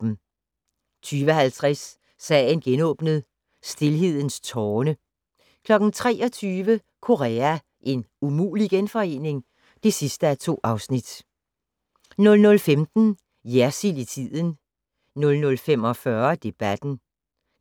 20:50: Sagen genåbnet: Stilhedens tårne 23:00: Korea - en umulig genforening? (2:2) 00:15: Jersild i tiden 00:45: Debatten